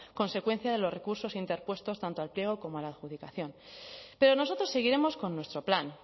consecuencia de los recursos interpuestos tanto al pliego como a la adjudicación pero nosotros seguiremos con nuestro plan